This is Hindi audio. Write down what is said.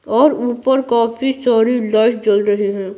और ऊपर काफी सारी लाइट जल रही हैं।